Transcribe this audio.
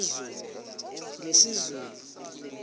ngesizulu